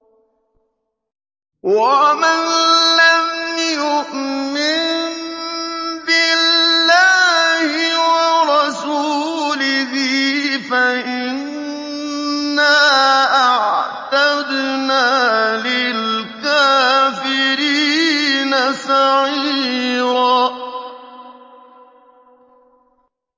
وَمَن لَّمْ يُؤْمِن بِاللَّهِ وَرَسُولِهِ فَإِنَّا أَعْتَدْنَا لِلْكَافِرِينَ سَعِيرًا